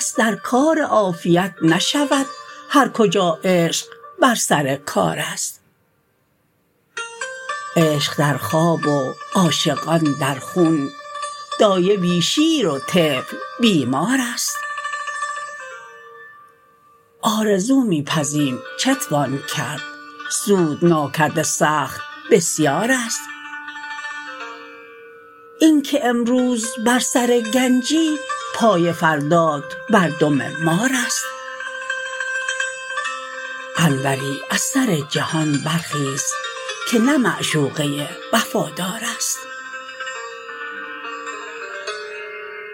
دست در کار عافیت نشود هر کجا عشق بر سر کارست عشق در خواب و عاشقان در خون دایه بی شیر و طفل بیمارست آرزو می پزیم چتوان کرد سود ناکرده سخت بسیارست اینکه امروز بر سر گنجی پای فردات بر دم مارست انوری از سر جهان برخیز که نه معشوقه وفادارست